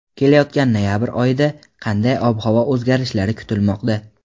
Kelayotgan noyabr oyida qanday ob-havo o‘zgarishlari kutilmoqda?.